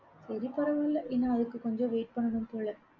சரி பரவால்ல இன்னும் அதுக்கு கொஞ்சம் wait பண்ணனும் போல